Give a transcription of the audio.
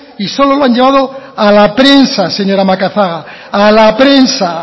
y solo lo han llevado a la prensa señora macazaga a la prensa